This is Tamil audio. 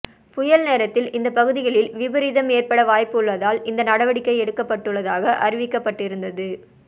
புயல் நேரத்தில் இந்த பகுதிகளில் விபரீதம் ஏற்பட வாய்ப்பு உள்ளதால் இந்த நடவடிக்கை எடுக்கப்பட்டுள்ளதாக அறிவிக்கப்பட்டிருந்தது